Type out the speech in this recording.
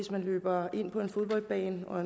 der løber ind på fodboldbanen og